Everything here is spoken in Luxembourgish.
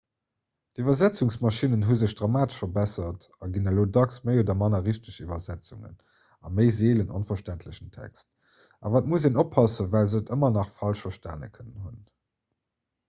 d'iwwersetzungsmaschinnen hu sech dramatesch verbessert a ginn elo dacks méi oder manner richteg iwwersetzungen a méi seelen onverständlechen text awer et muss een oppassen well se et ëmmer nach falsch verstane kënnen hunn